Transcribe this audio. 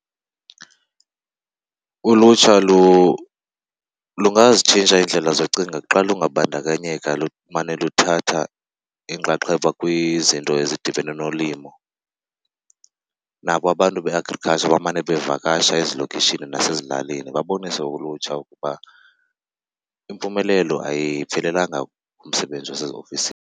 Ulutsha lungazitshintsha iindlela zocinga xa lungabandakanyeka lumane luthatha inxaxheba kwizinto ezidibene nolimo. Nabo abantu be-agriculture bamane bevakasha ezilokishini nasezilalini babonise ulutsha ukuba impumelelo ayiphelelanga kumsebenzi waseziofisini.